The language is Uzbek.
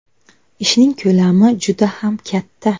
Ishning ko‘lami juda ham katta.